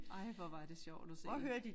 Ej hvor var det sjovt at se